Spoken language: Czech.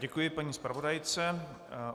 Děkuji paní zpravodajce.